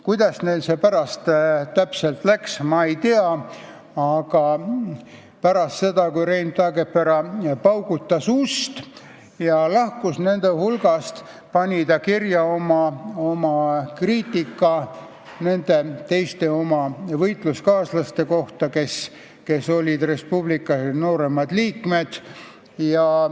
Kuidas neil pärast täpselt läks, ma ei tea, aga pärast seda, kui Rein Taagepera oli ust paugutanud ja nende hulgast lahkunud, pani ta kirja oma kriitika nende oma võitluskaaslaste kohta, kes olid Res Publica nooremad liikmed.